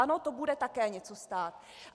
Ano, to bude také něco stát.